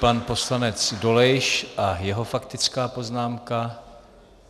Pan poslanec Dolejš a jeho faktická poznámka.